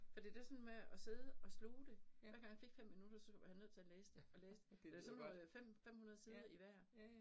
For det der sådan med at side og sluge det, hver gang jeg fik 5 minutter, så var jeg nødt til at læse det og læse det. Der sådan noget 500 sider i hver